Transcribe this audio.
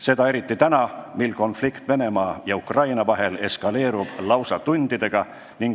Seda eriti täna, mil konflikt Venemaa ja Ukraina vahel eskaleerub lausa tundidega.